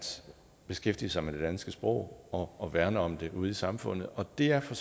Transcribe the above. beskæftige sig med det danske sprog og og værne om det ude i samfundet og det er for